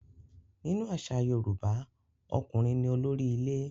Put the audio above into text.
Nínú àṣà Yorùbá, ọkùnrin ní olórí ilé.